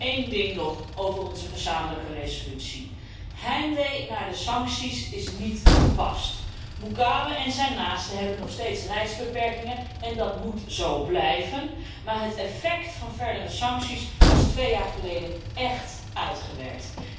Eén ding nog over onze gezamenlijke resolutie heimwee naar de sancties is niet gepast. Mugabe en zijn naasten hebben nog steeds reisbeperkingen en dat moet zo blijven, maar het effect van verdere sancties was twee jaar geleden echt uitgewerkt.